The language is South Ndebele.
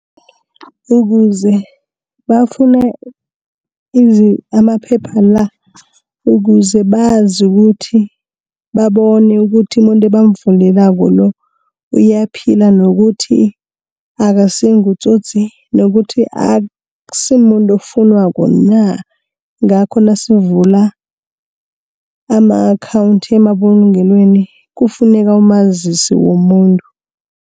Ukuze bafune amaphepha la, ukuze bazi ukuthi babone ukuthi umuntu ebamvulelako lo, uyaphila, nokuthi akasingutsotsi, nokuthi aksimuntu okufunwako na, ngakho nasivula ama-akhawunthi emabulungelweni kufuneka umazisi womuntu.